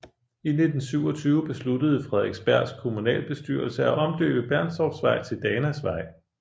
I 1927 besluttede Frederiksbergs kommunalbestyrelse at omdøbe Bernstorffsvej til Danasvej